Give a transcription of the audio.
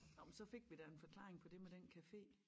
Nå men så fik vi da en forklaring på det med den café